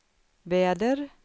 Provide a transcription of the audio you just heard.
väder